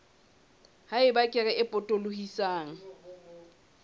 ha eba kere e potolohisang